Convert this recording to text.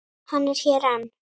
Hann er hér enn.